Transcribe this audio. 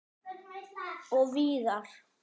Og víðar.